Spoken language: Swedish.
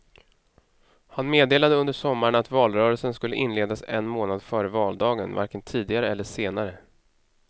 Han meddelade under sommaren att valrörelsen skulle inledas en månad före valdagen, varken tidigare eller senare.